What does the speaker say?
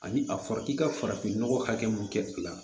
Ani a fɔra i ka farafinnɔgɔ hakɛ mun kɛ